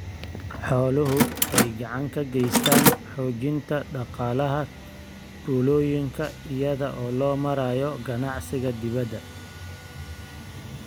Xooluhu waxay gacan ka geystaan ??xoojinta dhaqaalaha tuulooyinka iyada oo loo marayo ganacsiga dibadda.